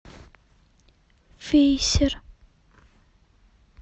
вейсер